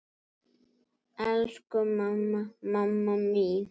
Elsku mamma, mamma mín.